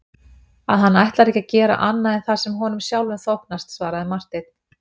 Að hann ætlar ekki að gera annað en það sem honum sjálfum þóknast, svaraði Marteinn.